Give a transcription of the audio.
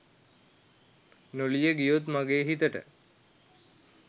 නොලිය ගියොත් මගේ හිතට